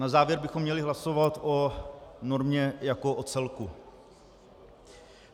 Na závěr bychom měli hlasovat o normě jako o celku.